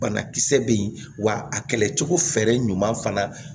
Banakisɛ bɛ yen wa a kɛlɛ cogo fɛrɛ ɲuman fana